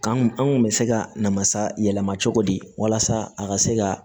K'an kun bɛ se ka na masa yɛlɛma cogo di walasa a ka se ka